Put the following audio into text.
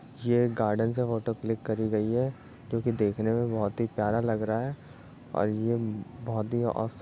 ये एक गार्डन से फोटो क्लिक करी गयी है जो कि देखने में बोहोत ही प्यारा लग रहा है। और ये बोहोत ही ओसम --